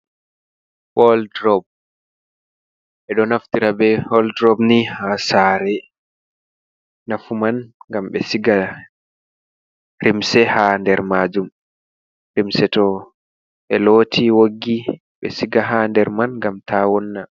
Woldrob e do naftira be woldrob ni ha sare, nafu man gam be siga limse ha nder majum limse to be loti woggi be siga ha nder man gam ta wonna.